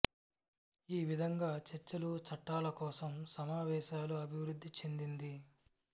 ఈ విధంగా చర్చలు చట్టాల కోసం సమావేశాలు అభివృద్ధి చెందింది